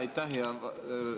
Aitäh!